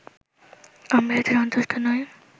আমরা এতে সন্তুষ্ট নই